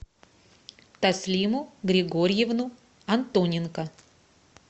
таслиму григорьевну антоненко